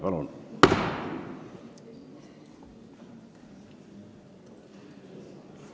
Palun!